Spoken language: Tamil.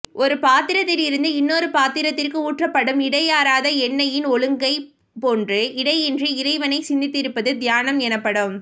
ஒரு பாத்திரத்தில் இருந்து இன்னொரு பாத்திரத்திற்கு ஊற்றப்படும் இடையறாத எண்ணெயின் ஒழுங்கைப் போன்று இடையின்றி இறைவனை சிந்தித்திருப்பது தியானம் எனப்படும்